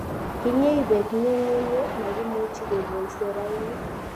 kinyei beek nyung'unyek makimuchi kekolsei rauni